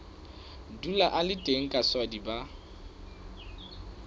dula a le teng kaswadi ba